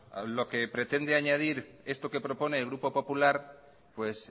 lo que pretende añadir esto que propone el grupo popular pues